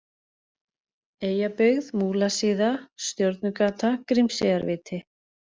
Eyjabyggð, Múlasíða, Stjörnugata, Grímseyjarviti